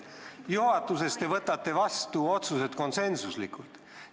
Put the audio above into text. Juhatuses te võtate vastu otsused konsensuslikult.